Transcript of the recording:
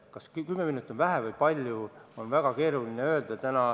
Kas 10 miljonit on vähe või palju, on praegu väga keeruline öelda.